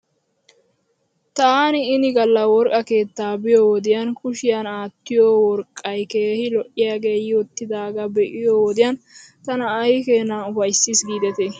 Taani ini gala worqqa keettaa biyoo wodiyan kushiyan aattiyoo worqqay keehi lo'iyaagee yiwttidaagaa be'iyoo wodiyan tana aykeenaa ufayssis giidetii ?